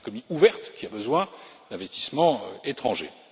C'est une économie ouverte, qui a besoin d'investissements étrangers.